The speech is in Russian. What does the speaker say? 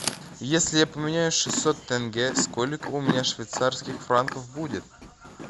если я поменяю шестьсот тенге сколько у меня швейцарских франков будет